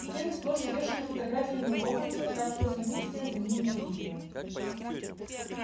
стены сплошь увешаны фотографиями локонса так что самих стен за ними не видно